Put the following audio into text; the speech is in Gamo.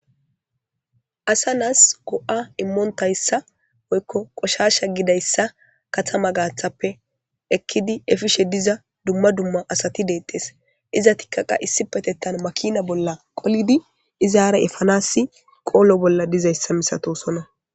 asa nas go'a immontayssa woykko qoshasha gidayssa kattama gaththappe ekidi efishe diza dumma dumma asati detees izetikka issipetettan makina bolla qoliidi izara efanasi qoolo bolla dizayssa misatosoona